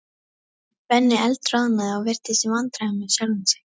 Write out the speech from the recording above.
Benni eldroðnaði og virtist í vandræðum með sjálfan sig.